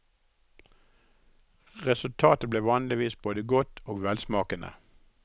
Resultatet ble vanligvis både godt og velsmakende.